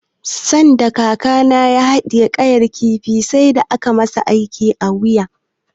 Sanda kakana ya haɗiye ƙayar kifi sai da aka masa aiki a wuya.